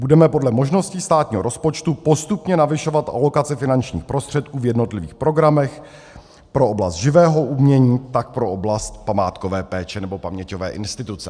Budeme podle možností státního rozpočtu postupně navyšovat alokace finančních prostředků v jednotlivých programech pro oblast živého umění, tak pro oblast památkové péče nebo paměťové instituce.